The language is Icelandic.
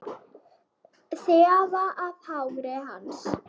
Þefa af hári hans.